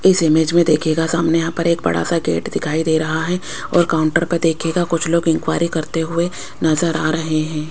इस इमेज में देखिएगा सामने यहां पर एक बड़ा सा गेट दिखाई दे रहा है और काउंटर पर देखिएगा कुछ लोग इन्क्वायरी करते हुए नजर आ रहे हैं।